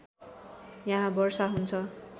यहाँ वर्षा हुन्छ